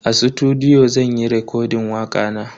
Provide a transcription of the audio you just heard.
A sutudiyo zan yi rekodin wakana.